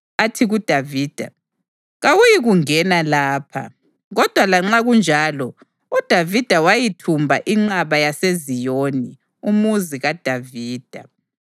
athi kuDavida, “Kawuyikungena lapha.” Kodwa lanxa kunjalo, uDavida wayithumba inqaba yaseZiyoni, uMuzi kaDavida.